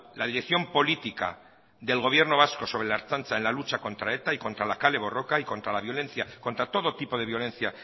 la dirección política del gobierno vasco sobre la ertzaintza en la lucha contra eta y contra la kale borroka y contra la violencia contra todo tipo de violencia